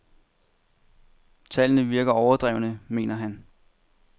Tallene virker overdrevne, mener han.